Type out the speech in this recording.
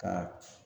Ka